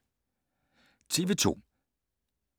TV 2